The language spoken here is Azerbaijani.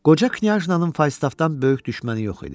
Qoca Knyajna'nın Faystaffdan böyük düşməni yox idi.